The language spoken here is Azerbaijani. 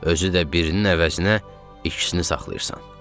Özü də birinin əvəzinə ikisini saxlayırsan.